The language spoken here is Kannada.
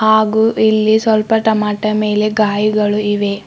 ಹಾಗು ಇಲ್ಲಿ ಸ್ವಲ್ಪ ಟೊಮಾಟೊ ಮೇಲೆ ಗಾಯಿಗಳು ಇವೆ.